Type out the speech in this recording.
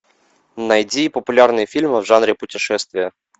найди популярные фильмы в жанре путешествия